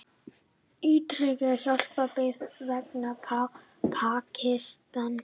Ítreka hjálparbeiðni vegna Pakistan